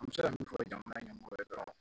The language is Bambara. An bɛ se ka min fɔ jamana ɲɛmɔgɔ ye dɔrɔn